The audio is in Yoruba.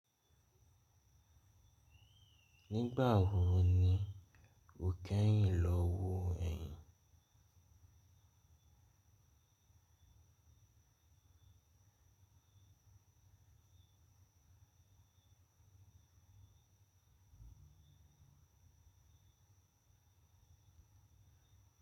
Nígbà wo ni ó kẹ́yìn lọ wo ẹyin?